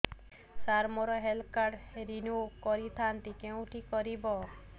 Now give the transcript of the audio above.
ସାର ମୋର health card renew କରିଥାନ୍ତି କେଉଁଠି କରିବି